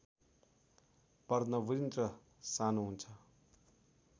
पर्णवृन्त सानो हुन्छ